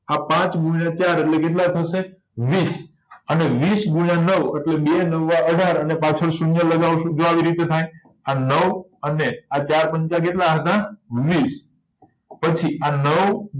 આ પાંચ ગુણ્યા ચાર એટલે કેટલા થશે વીસ અને વીસ ગુણ્યા નવ એટલે બે નવા અઢાર અને પાછળ શૂન્ય લગાવશું જો આવી રીતે થાય આ નવ અને આ ચાર પંચ કેટલા હતા વીસ પછી આ નવ